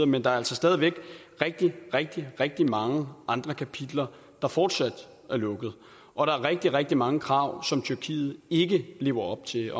men der er altså stadig væk rigtig rigtig rigtig mange andre kapitler der fortsat er lukket og der er rigtig rigtig mange krav som tyrkiet ikke lever op til